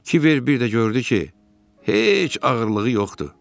Kiber bir də gördü ki, heç ağırlığı yoxdur.